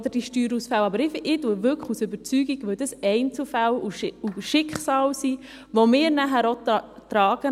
Aber ich stimme aus Überzeugung zu, weil es hier um Einzelschicksale geht, die wir als Staat am Ende tragen.